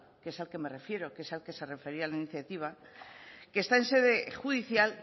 que es al que me refiero que es al que se refería la iniciativa que está en sede judicial